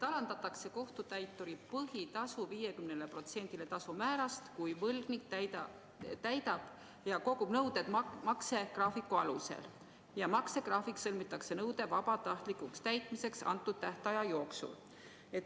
Alandatakse kohtutäituri põhitasu 50%-le tasumäärast, kui võlgnik täidab kogu nõude maksegraafiku alusel ja maksegraafik sõlmitakse nõude vabatahtlikuks täitmiseks antud tähtaja jooksul.